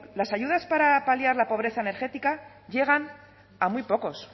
las ayudas para paliar la pobreza energética llegan a muy pocos